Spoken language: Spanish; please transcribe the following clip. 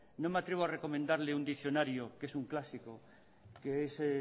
no me atrevo a recomendarle un diccionario que es un clásico que es